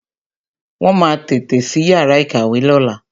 Wọn máa tètè sí yàrá ìkàwé lóla